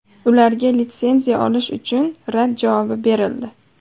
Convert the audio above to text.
Ularga litsenziya olish uchun rad javobi berildi.